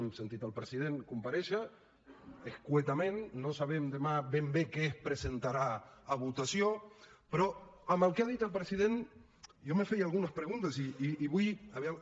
hem sentit el president comparèixer breument no sabem demà ben bé què es presentarà a votació però amb el que ha dit el president jo em feia algunes preguntes i vull a veure